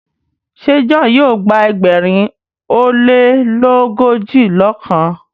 ṣe John yíò gba ẹgbẹrin o lelogojiọkan?